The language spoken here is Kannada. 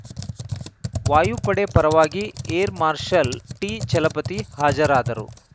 ವಾಯುಪಡೆ ಪರವಾಗಿ ಏರ್‌ ಮಾರ್ಷಲ್‌ ಟಿ ಛಲಪತಿ ಹಾಜರಾದರು